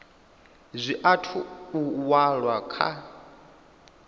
zwi athu u walwa kha